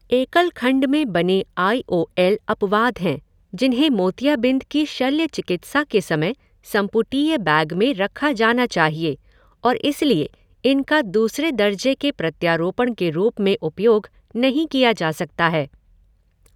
एकल खंड में बने आई ओ एल अपवाद हैं जिन्हें मोतियाबिंद की शल्य चिकित्सा के समय संपुटीय बैग में रखा जाना चाहिए और इसलिए इनका दूसरे दर्ज़े के प्रत्यारोपण के रूप में उपयोग नहीं किया जा सकता है।